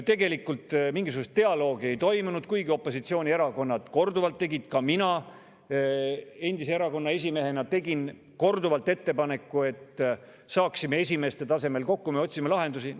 Tegelikult mingisugust dialoogi ei toimunud, kuigi opositsioonierakonnad tegid korduvalt ettepaneku, tegin korduvalt ka mina endise erakonna esimehena, et saame esimeeste tasemel kokku ja otsime lahendusi.